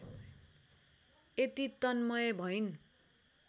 यति तन्मय भइन्